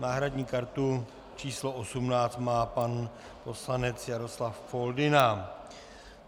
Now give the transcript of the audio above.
Náhradní kartu číslo 18 má pan poslanec Jaroslav Foldyna.